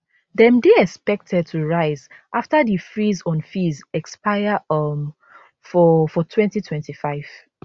dem dey expected to rise afta di freeze on fees expire um for for 2025